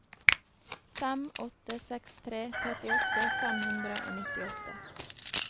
fem åtte seks tre trettiåtte fem hundre og nittiåtte